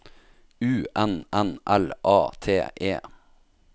U N N L A T E